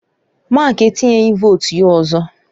Mark etinyeghị votu ya ọzọ.